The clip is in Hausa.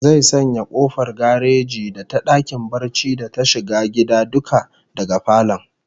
Zai sanya kofar gareji da ta dakin barci da ta shiga gida duka daga falon